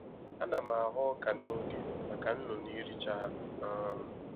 Ana m Aghọ ọka n'oge maka nnụnụ iricha ha um